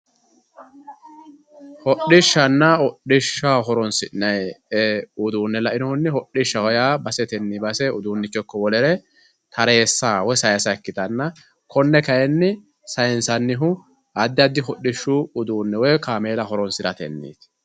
hadhishshanna hadhishshaho horonsi'nayii uduune la"inohunni hodhishshaho yaa basetenni base uduunnicho ikko wolere tareesa woyi sayiisa ikkitanna konne kayiinni sayiinsanihu addi addi hodhishshu uduune woyii kamela horonsiratenniiti.